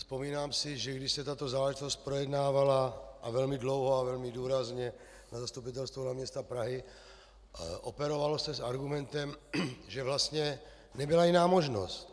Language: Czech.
Vzpomínám si, že když se tato záležitost projednávala - a velmi dlouho a velmi důrazně - na Zastupitelstvu hlavního města Prahy, operovalo se s argumentem, že vlastně nebyla jiná možnost.